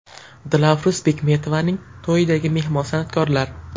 Dilafruz Bekmetovaning to‘yidagi mehmon san’atkorlar.